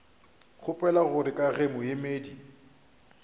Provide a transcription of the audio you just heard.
kgopela gore ka ge moemedi